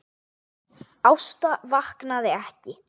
Ásta vaknaði ekki.